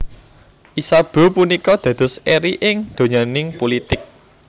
Isabeau punika dados eri ing donyaning pulitik